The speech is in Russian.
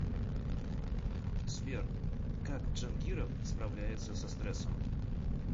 сбер как джангиров справляется со стрессом